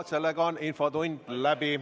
Sellega on infotund läbi.